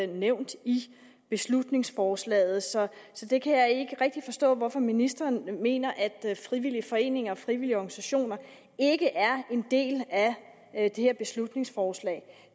nævnt i beslutningsforslaget så jeg kan ikke rigtig forstå hvorfor ministeren mener at frivillige foreninger og frivillige organisationer ikke er en del af det her beslutningsforslag